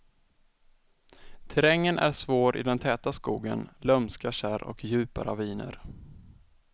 Terrängen är svår i den täta skogen, lömska kärr och djupa raviner.